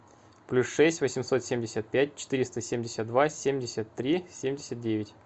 плюс шесть восемьсот семьдесят пять четыреста семьдесят два семьдесят три семьдесят девять